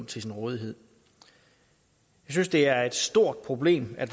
til sin rådighed vi synes det er et stort problem at